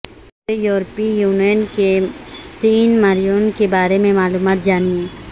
چھوٹے یورپی یونین کے سین مارینو کے بارے میں معلومات جانیں